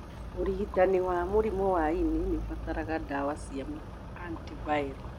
ũrigitani wa mũrimu wa ini nĩũbataraga ndawa cia antiviral